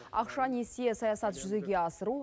ақша несие саясат жүзеге асыру